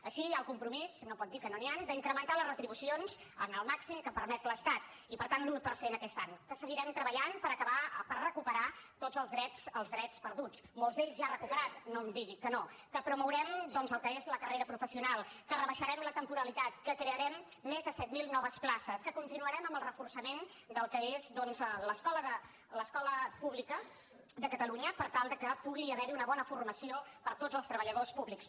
així hi ha el compromís no pot dir que no n’hi han d’incrementar les retribucions el màxim que permet l’estat i per tant l’un per cent aquest any que seguirem treballant per recuperar tots els drets perduts molts ja recuperats no em digui que no que promourem el que és la carrera professional que rebaixarem la temporalitat que crearem més de set mil noves places que continuarem amb el reforçament del que és l’escola d’administració pública de catalunya per tal de que pugui haver hi una bona formació per a tots els treballadors públics